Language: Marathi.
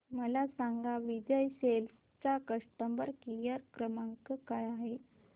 मला सांगा विजय सेल्स चा कस्टमर केअर क्रमांक काय आहे